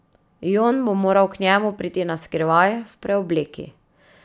Jon bo moral k njemu priti na skrivaj, v preobleki.